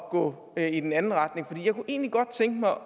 at gå i den anden retning for jeg kunne egentlig godt tænke mig